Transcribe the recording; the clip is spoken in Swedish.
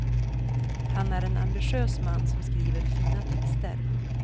Han är en ambitiös man som skriver fina texter.